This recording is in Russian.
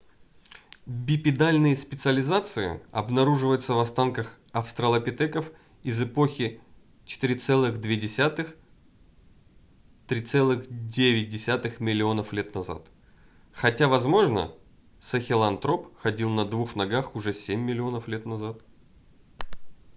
бипедальные специализации обнаруживаются в останках австралопитеков из эпохи 4,2–3,9 миллионов лет назад хотя возможно сахелантроп ходил на двух ногах уже 7 миллионов лет назад